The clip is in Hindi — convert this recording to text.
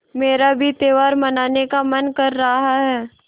मेरा भी त्यौहार मनाने का मन कर रहा है